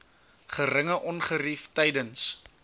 geringe ongerief tydens